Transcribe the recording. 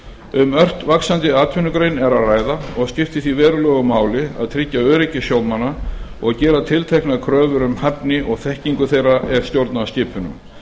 um ört vaxandi atvinnugrein er að ræða og skiptir því verulegu máli að tryggja öryggi sjómanna og gera tilteknar kröfur um hæfni og þekkingu þeirra er stjórna skipunum